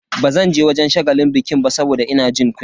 Bazanje wajen shagalin bikin ba saboda ina jin kunya.